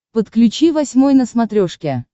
подключи восьмой на смотрешке